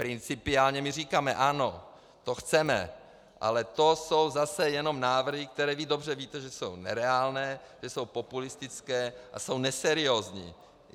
Principiálně my říkáme ano, to chceme, ale to jsou zase jenom návrhy, které vy dobře víte, že jsou nereálné, že jsou populistické a jsou neseriózní.